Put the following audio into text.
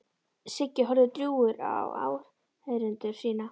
Siggi horfði drjúgur á áheyrendur sína.